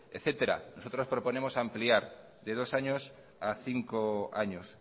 etcétera nosotros proponemos ampliar de dos años a cinco años